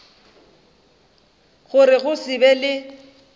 gore go se be le